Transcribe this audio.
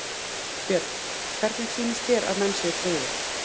Björn: Hvernig sýnist þér að menn séu tryggðir?